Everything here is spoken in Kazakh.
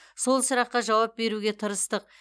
сол сұраққа жауап беруге тырыстық